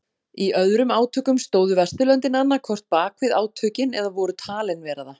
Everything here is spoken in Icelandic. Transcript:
Í öðrum átökum stóðu Vesturlöndin annað hvort bakvið átökin eða voru talin vera það.